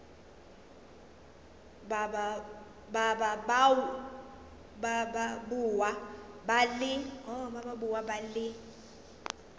ba ba boa ba le